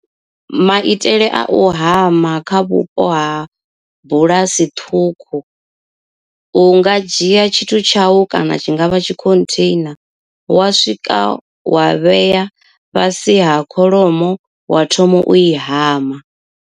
Maitele a u hama kha vhupo ha bulasi ṱhukhu. U nga dzhia tshithu tshau kana tshi nga vha tshi khontheina wa swika wa vhea fhasi ha kholomo wa thoma u i hama.